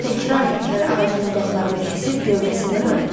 Təkrar-təkrar ağacın budaqlarını kəsib gövdəsindən ayırdı.